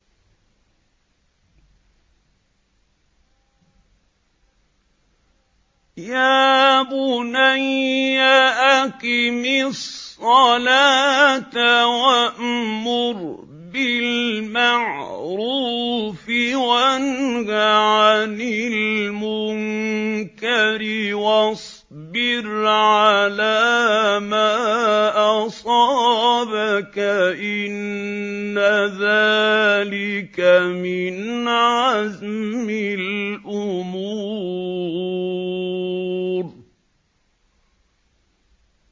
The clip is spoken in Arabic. يَا بُنَيَّ أَقِمِ الصَّلَاةَ وَأْمُرْ بِالْمَعْرُوفِ وَانْهَ عَنِ الْمُنكَرِ وَاصْبِرْ عَلَىٰ مَا أَصَابَكَ ۖ إِنَّ ذَٰلِكَ مِنْ عَزْمِ الْأُمُورِ